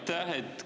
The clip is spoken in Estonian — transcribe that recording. Aitäh!